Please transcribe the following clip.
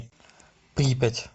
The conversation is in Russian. припять